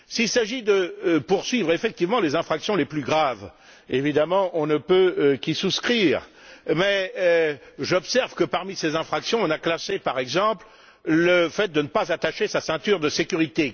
S'il s'agit de poursuivre effectivement les infractions les plus graves, évidemment, on ne peut qu'y souscrire, mais j'observe que, parmi ces infractions, on a classé, par exemple, le fait de ne pas attacher sa ceinture de sécurité.